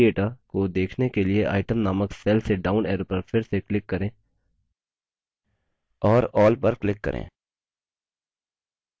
सभी data को देखने के लिए item named cell के डाउन arrow पर फिर से click करें और all पर click करें